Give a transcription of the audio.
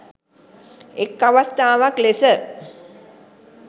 එක් අවස්ථාවක් ලෙස